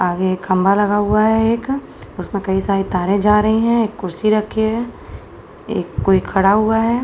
आगे एक खम्बा लगा हुआ है एक उसे में कई सारी तारे जा रही हैं एक कुर्सी रखी हुई है एक कोई खड़ा हुआ है।